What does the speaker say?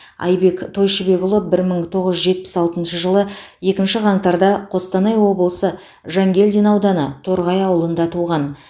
айбек тойшыбекұлы бір мың тоғыз жүз жетпіс алтыншы жылы екінші қаңтарда қостанай облысы жангелдин ауданы торғай ауылында туған